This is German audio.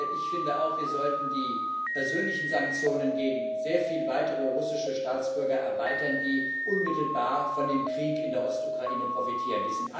Ich finde auch, wir sollten die persönlichen Sanktionen gegen sehr viele weitere russische Staatsbürger erweitern, die unmittelbar von dem Krieg in der Ostukraine profitieren.